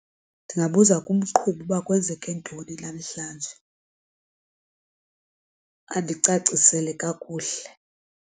Ndingabuza kumqhubi uba kwenzeke ntoni namhlanje andicacisele kakuhle.